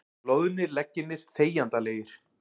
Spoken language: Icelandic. Loðnir leggirnir þegjandalegir.